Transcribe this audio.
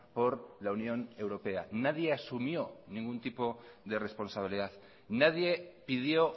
por la unión europea nadie asumió ningún tipo de responsabilidad nadie pidió